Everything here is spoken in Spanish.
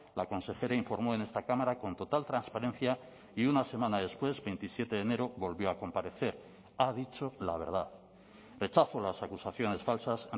la consejera informó en esta cámara con total transparencia y una semana después veintisiete de enero volvió a comparecer ha dicho la verdad rechazo las acusaciones falsas